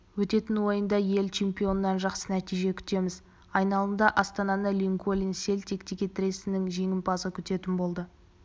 өтетін ойында ел чемпионынан жақсы нәтиже күтеміз айналымда астананы линкольн селтик текетіресінің жеңімпазы күтетін болды